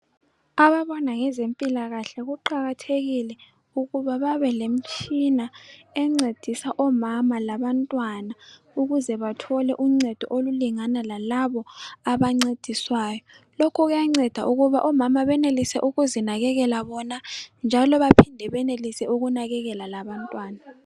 Ababona ngezempilakahle kuqakathekile ukuthi bebe lemtshina encedisa omama labantwana ukuze bathole uncedo olulingana lalaba abangcediswayo lokhu kuyangceda ukuze omama bekwanise ukuzinakekela bona njalo benelise ukunakekela labantwana